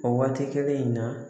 O waati kelen in na